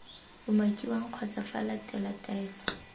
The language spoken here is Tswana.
umakiwang kgotsa f latele taelo